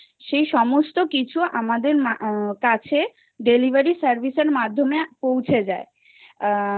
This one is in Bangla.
সেই সমস্ত কিছু আমাদের কাছে delivery service এর মাধ্যমে পৌঁছে যায় আ